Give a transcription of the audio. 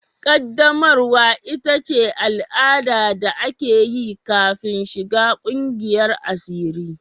Ƙaddamarwa ita ce al'ada da ake yi kafin shiga ƙungiyar asiri.